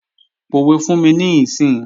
Pòwe fún mi níìsín!